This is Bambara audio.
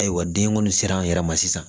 Ayiwa den kɔni sera an yɛrɛ ma sisan